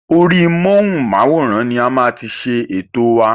Orí móhùnmáwòrán ni a máa ti ṣe ètò wa.